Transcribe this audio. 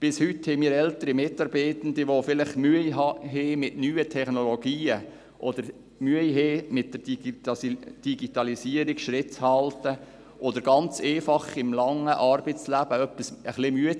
Bis heute haben wir ältere Mitarbeitende, die vielleicht Mühe haben mit neuen Technologien oder mit der Digitalisierung Schritt zu halten oder die ganz einfach im langen Arbeitsleben etwas müde geworden sind.